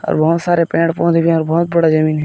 और बहोत सारे पेड़ पौधे भी है और बहोत बड़ा जमीन है ।